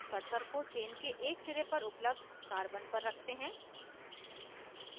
cursor को chain के एक सिरे पर उपलब्ध carbon पर रखते हैं